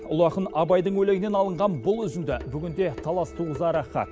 ұлы ақын абайдың өлеңінен алынған бұл үзінді бүгінде талас туғызары хақ